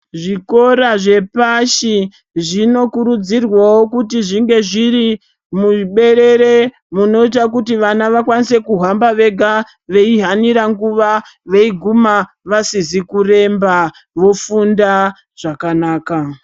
Zvikora zvepashi zvinokurudzirwawo kuti zvinge zviri muberere munoita kuti vana vakwanise kuhamba vega veihanira nguva, veiguma vasizi kuremba vofunda zvakanaka.